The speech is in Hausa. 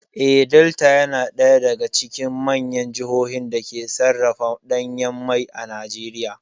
Eh, Delta ya na ɗaya daga cikin manyan jahohin dake sarrafa ɗanyan mai a Najeriya